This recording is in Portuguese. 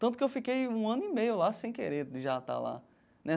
Tanto que eu fiquei um ano e meio lá sem querer já estar lá, né?